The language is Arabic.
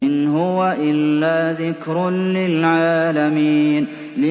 إِنْ هُوَ إِلَّا ذِكْرٌ لِّلْعَالَمِينَ